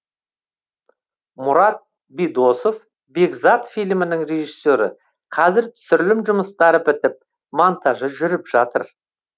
мұрат бидосов бекзат фильмінің режиссері қазір түсірілім жұмыстары бітіп монтажы жүріп жатыр